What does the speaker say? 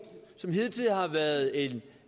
som hidtil har været en